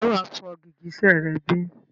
Ǹjẹ́ wà fọ gìgísẹ̀ rẹ bí?